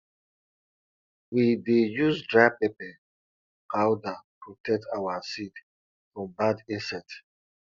we dey use dry pepper powder protect our seed from bad insect